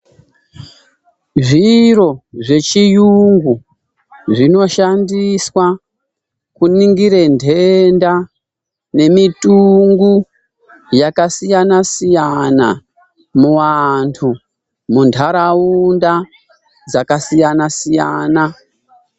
Zviro zvechiyungu zvinoshandiswa kuningire nhenda nemitungu yakasiyanasiyana muantu munharaunda dzakasiyanasiyana.